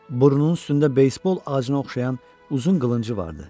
Burnunun üstündə beysbol acına oxşayan uzun qılıncı vardı.